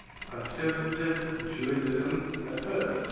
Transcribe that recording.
conservative judaism affirms